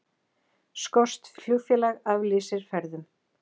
Skoskt flugfélag aflýsir ferðum